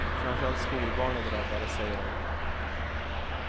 Framför allt skolbarn är drabbade, säger hon.